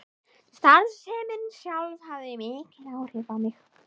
Starfsemin sjálf hafði mikil áhrif á mig.